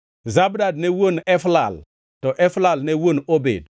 Zabad ne wuon Eflal, to Eflal ne wuon Obed,